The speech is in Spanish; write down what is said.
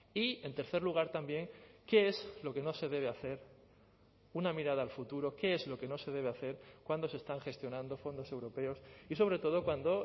y en tercer lugar también qué es lo que no se debe hacer una mirada al futuro qué es lo que no se debe hacer cuando se están gestionando fondos europeos y sobre todo cuando